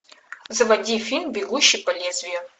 заводи фильм бегущий по лезвию